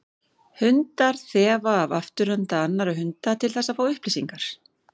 Hundar þefa af afturenda annarra hunda til þess að fá upplýsingar.